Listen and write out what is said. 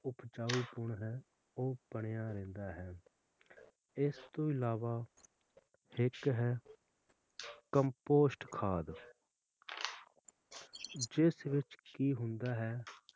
ਉਪਜਾਊਪੁਨ ਹੈ ਉਹ ਬਣਿਆ ਰਹਿਣਾ ਹੈ ਇਸ ਤੋਂ ਅਲਾਵਾ ਇੱਕ ਹੈ compost ਖਾਦ ਜਿਸ ਵਿਚ ਕਿ ਹੁੰਦਾ ਹੈ